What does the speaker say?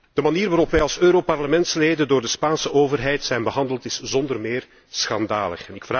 De manier waarop wij als Europarlementsleden door de Spaanse overheid zijn behandeld is zonder meer schandalig.